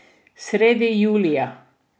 Sredi julija.